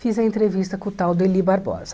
Fiz a entrevista com o tal do Eli Barbosa.